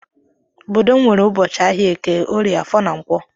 Obodo m nwere ụbọchị ahịa Eke, Orie, Afor na Nkwo.